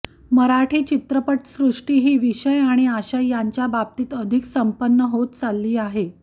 मराठी चित्रपटसृष्टी ही विषय आणि आशय यांच्या बाबतीत अधिक संपन्न होत चालली आहे